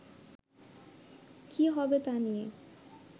কী হবে তা নিয়ে